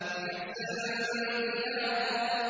وَكَأْسًا دِهَاقًا